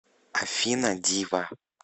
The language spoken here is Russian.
афина дива